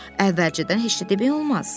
Əvvəlcədən heç nə demək olmaz.